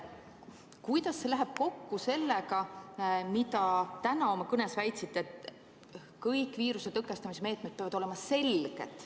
Kuidas see läheb kokku sellega, mida te täna oma kõnes väitsite, et kõik viiruse tõkestamise meetmed peavad olema selged?